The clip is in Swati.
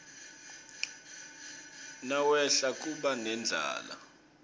nawehla kuba nendlala